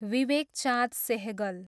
Vivek Chand Sehgal